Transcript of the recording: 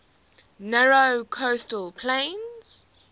narrow coastal plain